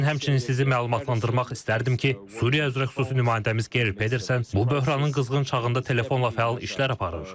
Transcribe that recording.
Mən həmçinin sizi məlumatlandırmaq istərdim ki, Suriya üzrə xüsusi nümayəndəmiz Geyr Pedersen bu böhranın qızğın çağında telefonla fəal işlər aparır.